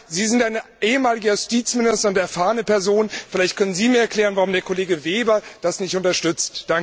Sie sind ein ehemaliger Justizminister und eine erfahrene Person, vielleicht können Sie mir erklären, warum der Kollege Weber das nicht unterstützt.